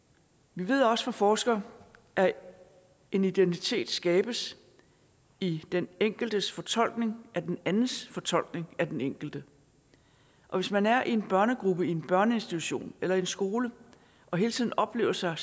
vi ved også fra forskere at en identitet skabes i den enkeltes fortolkning af den andens fortolkning af den enkelte og hvis man er i en børnegruppe i en børneinstitution eller i en skole og hele tiden oplever sig